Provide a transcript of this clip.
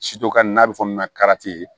n'a bɛ fɔ min ma